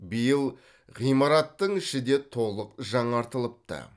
биыл ғимараттың іші де толық жаңартылыпты